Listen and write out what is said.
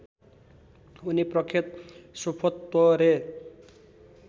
उनी प्रख्यत सोफोत्वरे